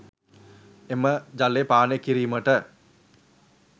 එම ජලය පානය කිරීමට